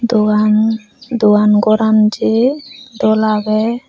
dogan dogan goran jay dol aagay.